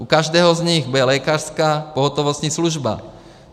U každého z nich bude lékařská pohotovostní služba.